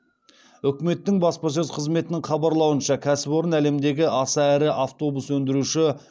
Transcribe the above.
үкіметтің баспасөз қызметінің хабарлауынша кәсіпорын әлемдегі аса ірі автобус өндіруші